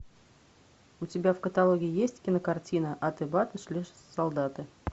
у тебя в каталоге есть кинокартина аты баты шли солдаты